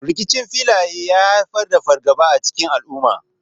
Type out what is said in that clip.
Rikicin filaye ya haifar da fargaba a cikin al’umma.